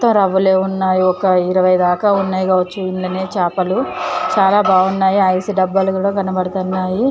ఉన్నాయి. ఒక ఇరవై దాకా ఉన్నాయిగా వచ్చిందనే చేపలు చాలా బాగున్నాయి. ఐసు డబ్బాలు కూడా కనబడుతున్నాయి.